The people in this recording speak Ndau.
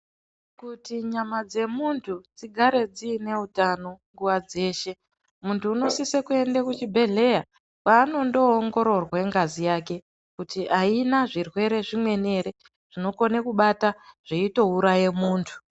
Kuti nyama dzemunthu dzigare dziine utano nguwa dzeshe, munthu unosise kuende kuchibhedhleya kwaanondoongororwa ngazi yake kuti aina zvirwere zvimweni zvinokone kubata zveitouraye munthu.